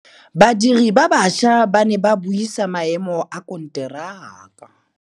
Badiri ba baša ba ne ba buisa maêmô a konteraka.